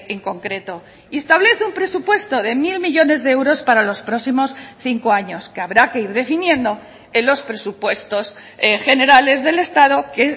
en concreto y establece un presupuesto de mil millónes de euros para los próximos cinco años que habrá que ir definiendo en los presupuestos generales del estado que